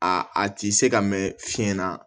A ti se ka mɛn fiɲɛ na